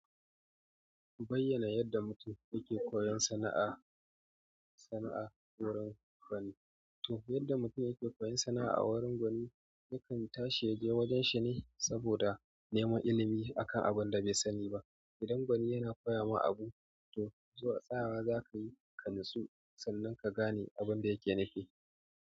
Bayyana yadda mutum yake koyon sana'a sana'a wurin gwani. To yadda mutum yake koyon sana'a a wurin gwani, yakan tashi yaje wajen shi ne saboda neman ilimi a kan abin da bai sani ba. Idan gwani yana koya ma abu, to zuwa tsayawa za ka yi ka natsu sannan ka gane abin da yake nufi.